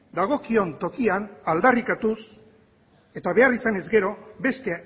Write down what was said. dagokion tokian aldarrikatuz eta behar izanez gero beste